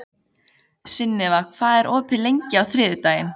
Sunniva, hvað er opið lengi á þriðjudaginn?